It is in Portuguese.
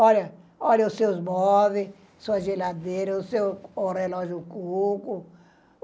Olha, olha os seus móveis, sua geladeira, o seu, o relógio Cuco.